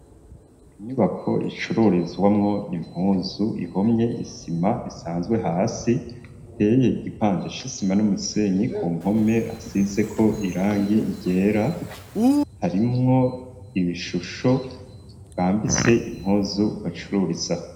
Inyubako icururizwamwo impuzu ,ihomye isima isanzwe hasi, iteye igipande c'isima n'umusenyi, ku mpome hasize ko irangi ryera, harimwo ibishusho bambitse impuzu bacururiza.